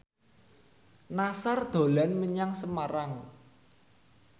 Nassar dolan menyang Semarang